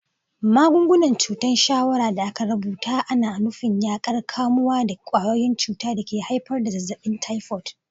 Magungunan cutar shawarra da aka rubuta ana nufin yaƙar kamuwa da ƙwayoyin cuta da ke haifar da zazzabin typhoid.